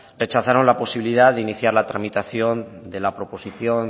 rechazaron la posibilidad de iniciar la tramitación de la proposición